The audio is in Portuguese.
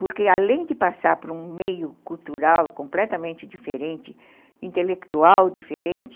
Porque, além de passar por um meio cultural completamente diferente, intelectual diferente,